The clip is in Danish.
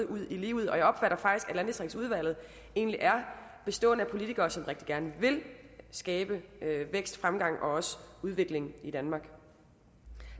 ud i livet og jeg opfatter faktisk at landdistriktsudvalget egentlig er bestående af politikere som rigtig gerne vil skabe vækst fremgang og også udvikling i danmark